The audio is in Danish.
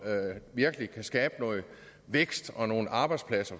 virkelig kan skabe noget vækst og nogle arbejdspladser